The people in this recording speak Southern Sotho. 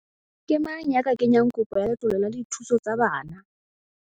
Ke mang ya ka kenyang kopo ya letlole la dithuso tsa bana?